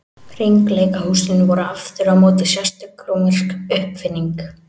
Hringleikahúsin voru aftur á móti sérstök rómversk uppfinning.